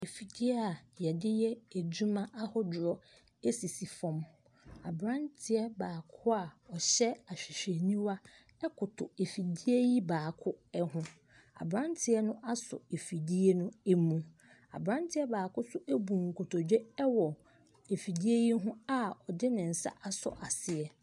Afidie a wɔde yɛ adwuma ahodoɔ sisi fam. Aberanteɛ baako a ɔhyɛ ahwehwɛniwa koto afidie yi baako ho. Aberanteɛ no asɔ afidie no mu. Aberanteɛ baako nso abu nkotodwe wɔ afidie yi ho a ɔde ne nsa asɔ aseɛ.